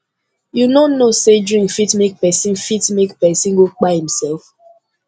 you no know sey drink fit make pesin fit make pesin go kpai imsef